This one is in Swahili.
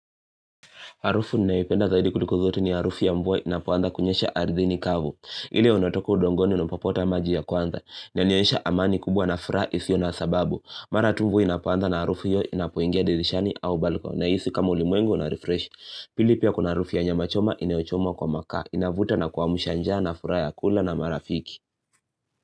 Harufu ninayoiipenda zaidi kuliko zote ni harufu ya mvua inapuanza kunyesha ardhini kavu. Ile unatoka udongoni napapota maji ya kwanza. Inanionyesha amani kubwa na furaha isiyo na sababu. Mara tu mvua inapuanda na harufu hiyo inapoingia dirishani au baliko. Nahisi kama ulimwengu unarefresh. Pili pia kuna harufu ya nyama choma inayohomwa kwa maka. Inavuta na kuwamsha njaa na furaha ya kula na marafiki.